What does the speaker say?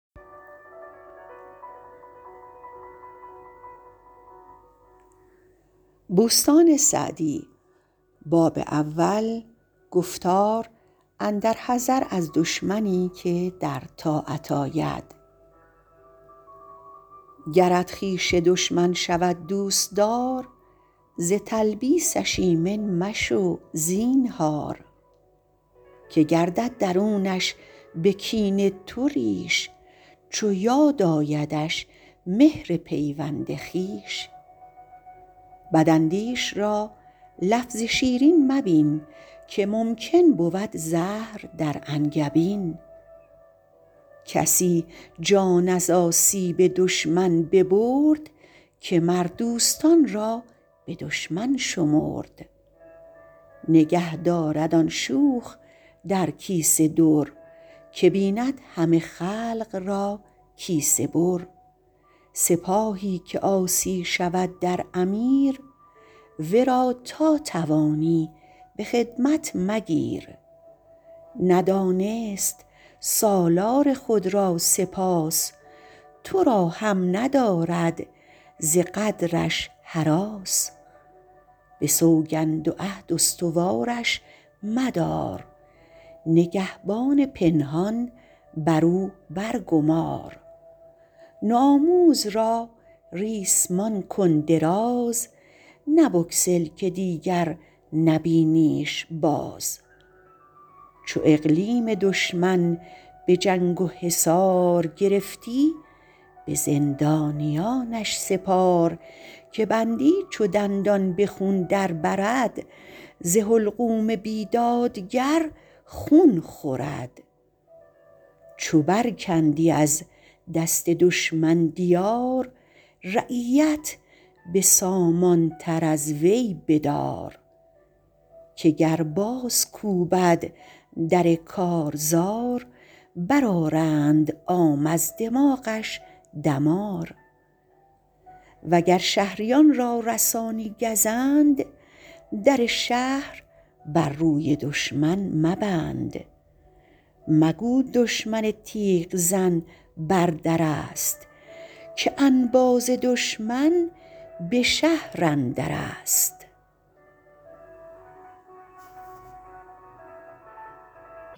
گرت خویش دشمن شود دوستدار ز تلبیسش ایمن مشو زینهار که گردد درونش به کین تو ریش چو یاد آیدش مهر پیوند خویش بد اندیش را لفظ شیرین مبین که ممکن بود زهر در انگبین کسی جان از آسیب دشمن ببرد که مر دوستان را به دشمن شمرد نگه دارد آن شوخ در کیسه در که بیند همه خلق را کیسه بر سپاهی که عاصی شود در امیر ورا تا توانی به خدمت مگیر ندانست سالار خود را سپاس تو را هم ندارد ز غدرش هراس به سوگند و عهد استوارش مدار نگهبان پنهان بر او بر گمار نو آموز را ریسمان کن دراز نه بگسل که دیگر نبینیش باز چو اقلیم دشمن به جنگ و حصار گرفتی به زندانیانش سپار که بندی چو دندان به خون در برد ز حلقوم بیدادگر خون خورد چو بر کندی از دست دشمن دیار رعیت به سامان تر از وی بدار که گر باز کوبد در کارزار بر آرند عام از دماغش دمار وگر شهریان را رسانی گزند در شهر بر روی دشمن مبند مگو دشمن تیغ زن بر در است که انباز دشمن به شهر اندر است